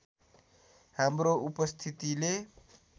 हाम्रो उपस्थितिले